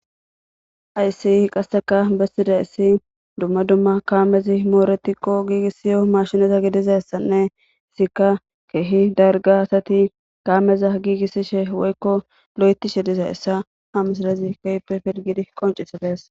Hayssii qasseka bessida issi dumma dumma kaamezi mooretikko giigissiyo mashineza gidizassanne isika keehi darga asati kaameza giigissishe woykko lo7etishe diza issa ha misidazi keype pirgidi qoncisidees